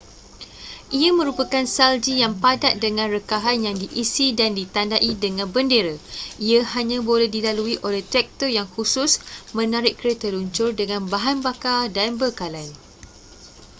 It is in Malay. ia merupakan salji yang padat dengan rekahan yang diisi dan ditandai dengan bendera ia hanya boleh dilalui oleh traktor yang khusus menarik kereta luncur dengan bahan bakar dan bekalan